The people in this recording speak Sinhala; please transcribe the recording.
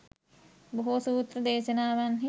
බොහෝ සූත්‍ර දේශනාවන්හි